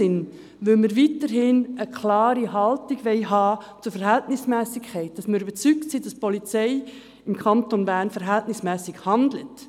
Falls jemand das Gefühl hat, die Polizei handle nicht verhältnismässig, wobei wir alle Rechtsmittel haben, so können diese selbst Anzeige erstatten und das Verhalten überprüfen lassen.